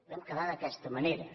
vam quedar d’aquesta manera